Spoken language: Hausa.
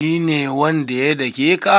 Shi ne wanda ya dake ka?